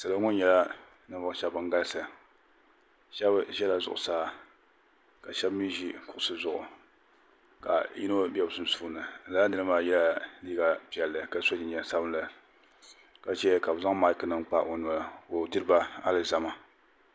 Salo ŋɔ nyɛla ninvuɣi shɛba bani galisi shɛba zɛla zuɣusaa ka shɛba mi zi kuɣusi zuɣu ka yino bɛ sunsuuni lala niri maa ye la liiga piɛlli ka so jinjam sabinli ka zɛya ka bi zaŋ maiki nima kpa o noli ka o diriba alizama.